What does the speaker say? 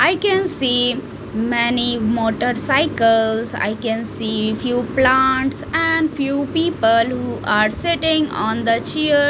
I can see many motor cycles I can see few plants and few people who are sitting on the chair .